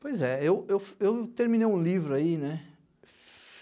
Pois é, eu eu eu não terminei um livro aí, né?